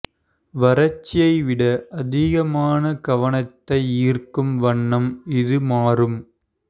வறட்சியை விட அதிகமான கவனத்தை ஈர்க்கும் வண்ணம் இது மாறும்